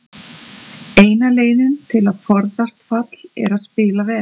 Eina leiðin til að forðast fall er að spila vel.